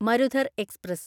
Marudhar express